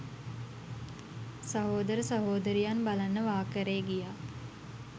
සහෝදර සහෝදරියන් බලන්න වාකරේ ගියා